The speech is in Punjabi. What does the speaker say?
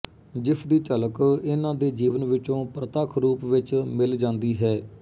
ਜਿਸਦੀ ਝਲਕ ਇਨ੍ਹਾਂ ਦੇ ਜੀਵਨ ਵਿੱਚੋਂ ਪ੍ਰਤੱਖ ਰੂਪ ਵਿੱਚ ਮਿਲ ਜਾਂਦੀ ਹੈ